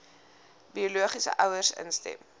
biologiese ouers instem